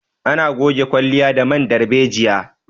Ana goge kwalliya da man darbejiya